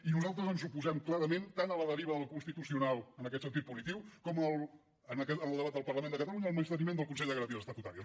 i nosaltres ens oposem clarament tant a la deriva del constitucional en aquest sentiu punitiu com en el debat del parlament de catalunya al menysteniment del consell de garanties estatutàries